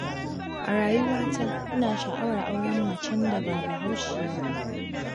A rayuwata, ina sha'awar auren macen da ba Bahaushiya ba.